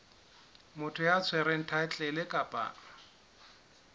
motho ya tshwereng thaetlele kapa